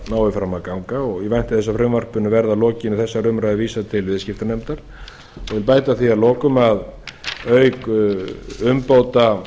nái fram að ganga og ég vænti þess að frumvarpinu verði að lokinni þessari umræðu vísað til viðskiptanefndar ég vil bæta því við að lokum að auk umbóta á